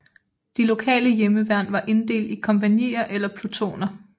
De lokale hjemmeværn var inddelt i kompagnier eller plutoner